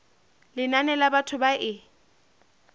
lenane la batho ba e